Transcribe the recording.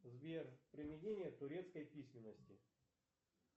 сбер применение турецкой письменности